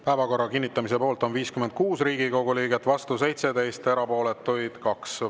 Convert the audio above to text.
Päevakorra kinnitamise poolt on 56 Riigikogu liiget, vastu 17, erapooletuid 2.